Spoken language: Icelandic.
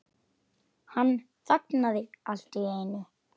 Hann þagnaði allt í einu.